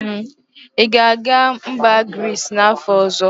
Ị ga-aga mba Grizz n'afọ ọzọ?